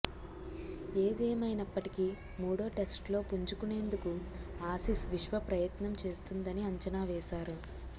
ఏదేమైనప్పటికీ మూడో టెస్టులో పుంజుకొనేందుకు ఆసీస్ విశ్వప్రయత్నం చేస్తుందని అంచనా వేశారు